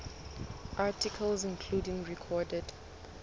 articles including recorded